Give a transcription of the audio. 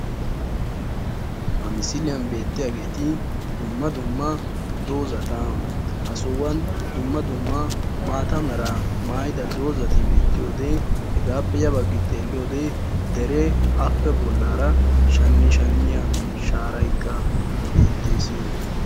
Ha misiliyan beettiyageeti dumma dumma dozati. Ha sohuwan dumma dumma maata meraa mayida dozati beettoyode hegaappe ya baggi xeelliyode deree appe ya baggaara shannoshanniya shaarayikka beettees.